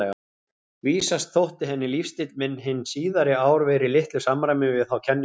Vísast þótti henni lífsstíll minn hin síðari ár vera í litlu samræmi við þá kenningu.